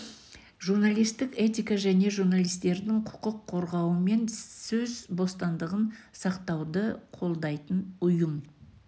журналистік этика және журналистердің құқық қорғауы мен сөз бостандығын сақтауды қолдайтын ұйым